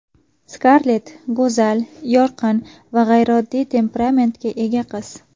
Skarlett go‘zal, yorqin va g‘ayrioddiy temperamentga ega qiz.